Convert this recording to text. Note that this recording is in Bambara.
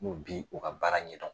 N'o bi u ka baara ɲɛ dɔn.